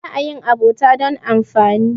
ba a yin abota don amfani